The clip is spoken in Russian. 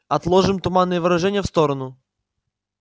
отложим туманные выражения в сторону